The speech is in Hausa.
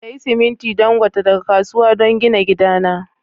Siya siminti Dangote daga kasuwa don gina gidana.